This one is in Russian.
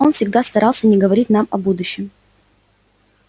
он всегда старался не говорить нам о будущем